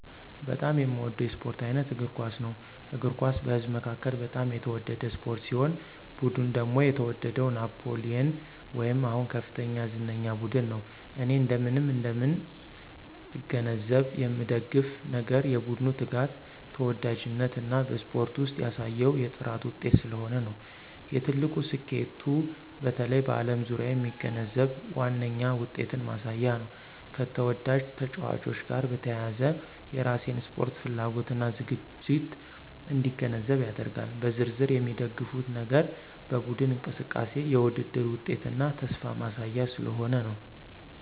በጣም የሚወደው የስፖርት አይነት እግር ኳስ ነው። እግር ኳስ በህዝብ መካከል በጣም የተወደደ ስፖርት ሲሆን ቡድን ደግሞ የተወደደው ናፕሊየን ወይም አሁን ከፍተኛ ዝነኛ ቡድን ነው። እኔ እንደምን እንደምን እገነዘብ የምንደግፍ ነገር የቡድኑ ትጋት፣ ተወዳጅነት እና በስፖርት ውስጥ ያሳየው የጥራት ውጤት ስለሆነ ነው። የትልቁ ስኬቱ በተለይ በዓለም ዙሪያ የሚገነዘብ ዋነኛ ውጤትን ማሳያ ነው፣ ከተወዳጅ ተጫዋቾች ጋር በተያያዘ የራሴን ስፖርት ፍላጎት እና ዝግጅት እንዲገነዘብ ያደርጋል። በዝርዝር የሚደግፉት ነገር በቡድኑ እንቅስቃሴ፣ የውድድር ውጤትና ተስፋ ማሳያ ስለሆነ ነው።